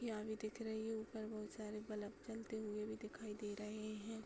यहाँ भी दिख रही है। ऊपर बहुत सारे बलब जलते हुए भी दिखाई दे रहे हैं।